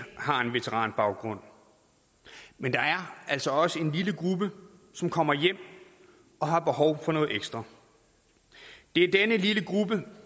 har en veteranbaggrund men der er altså også en lille gruppe som kommer hjem og har behov for noget ekstra det er denne lille gruppe